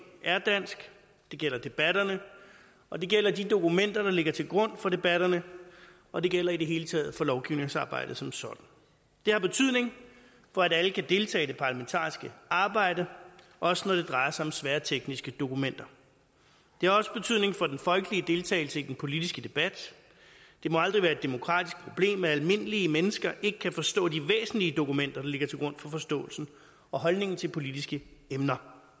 er dansk det gælder debatterne og det gælder de dokumenter der ligger til grund for debatterne og det gælder i det hele taget for lovgivningsarbejdet som sådan det har betydning for at alle kan deltage i det parlamentariske arbejde også når det drejer sig om svære tekniske dokumenter det har også betydning for den folkelige deltagelse i den politiske debat det må aldrig være et demokratisk problem at almindelige mennesker ikke kan forstå de væsentlige dokumenter der ligger til grund for forståelsen og holdningen til politiske emner